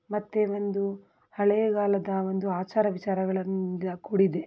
ಮತ್ತೆ ಒಂದು ಹಳೆಯ ಕಾಲದ ಒಂದು ಆಚಾರ ವಿಚಾರಗಳಿಂದ ಕೂಡಿದೆ.